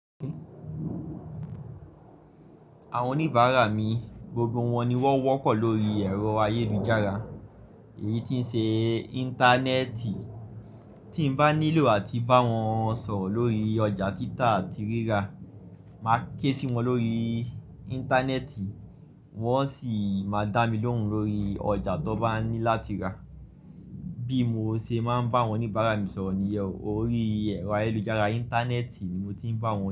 Àwọn oníbàárà mi, gbogbo wọn ni wọ́n wọ́pọ̀ lórí ẹ̀rọ ayélujára, èyí tí ń se Íńtánẹ́ẹ̀tì. Tí n bá nílò àti bá wọn sọ̀rọ̀ lórí ọjà títà àti rírà, màá ké sí wọn lórí Íńtánẹ́ẹ̀tì, wọ́n sì máa dá mi lóhùn lórí ọjà tó bá ní láti rà. Bí mo se máa ń bá àwọn oníbàárà mi sọ̀rọ̀ ni iyẹn o, orí ẹ̀rọ ayélujára Íńtánẹ́ẹ̀tì ni mo ti ń bá wọn.